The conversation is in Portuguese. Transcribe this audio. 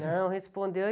Não, respondeu.